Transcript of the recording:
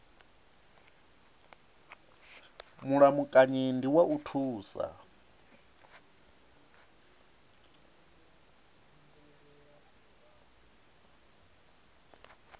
mulamukanyi ndi wa u thusa